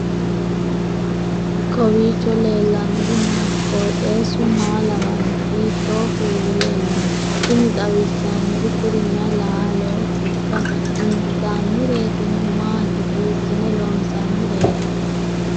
kowiicho leellannori maati ? qooxeessu maa lawaanno ? hiitoo kuuli leellanno ? tini xawissannori kuri mayi laalootikka intannireetino maati hiissine loonsoonnireeti